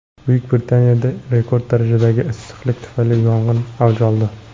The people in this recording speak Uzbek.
Buyuk Britaniyada rekord darajadagi issiqlik tufayli yong‘inlar avj oldi.